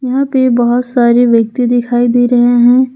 यहां पे बहोत सारे व्यक्ति दिखाई दे रहे हैं।